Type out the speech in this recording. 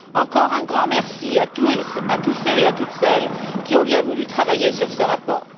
Encore un grand merci à tous ceux et à toutes celles qui ont bien voulu travailler sur ce rapport.